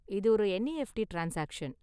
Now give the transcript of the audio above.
இது ஒரு NEFT transaction.